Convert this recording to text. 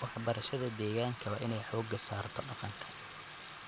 Waxbarashada deegaanka waa in ay xoogga saarto dhaqanka.